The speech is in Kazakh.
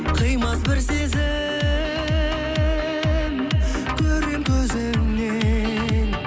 қимас бір сезім көремін көзіңнен